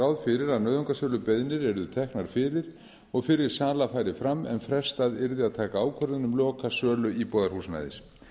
fyrir að nauðungarsölubeiðnir eru teknar fyrir og fyrri sala færi fram en frestað yrði að taka ákvörðun um lokasölu íbúðarhúsnæðis